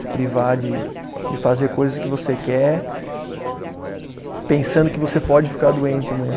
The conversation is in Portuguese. Se privar de de fazer coisas que você quer, pensando que você pode ficar doente amanhã.